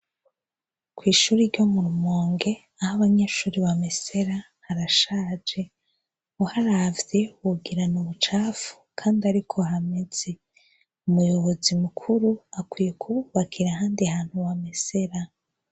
Kw'ishuri ryo murumonge ah'abanyeshuri bamesera ,harashaje uharavye wogira n'imicafu kandi ariko hameze , umuyobozi mukuru akwiye kububakira ahandi hantu bamesera.